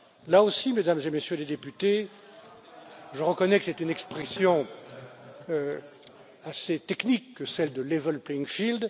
Là aussi, Mesdames et Messieurs les députés, je reconnais que c'est une expression assez technique que celle de level playing field